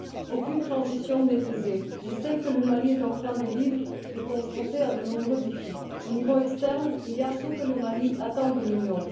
Aucune transition n'est aisée, mais celle que le Mali est en train de vivre se heurte à de nombreux défis. Au niveau externe, il y a ce que le Mali attend de l'Union.